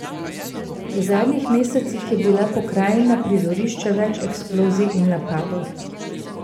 V zadnjih mesecih je bila pokrajina prizorišče več eksplozij in napadov.